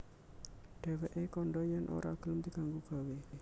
Dhèwèké kandha yèn ora gelem diganggu gawé